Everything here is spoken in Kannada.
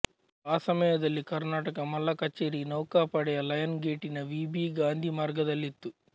ಆ ಸಮಯದಲ್ಲಿ ಕರ್ನಾಟಕ ಮಲ್ಲ ಕಚೇರಿ ನೌಕಾ ಪಡೆಯ ಲಯನ್ ಗೇಟಿನ ವಿ ಬಿ ಗಾಂಧಿ ಮಾರ್ಗದಲ್ಲಿತ್ತು